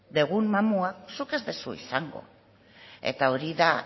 dugun mamua zuk ez duzu izango eta hori da